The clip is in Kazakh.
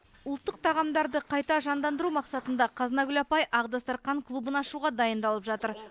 ұлттық тағамдарды қайта жандандыру мақсатында қазынагүл апай ақ дастархан клубын ашуға дайындалып жатыр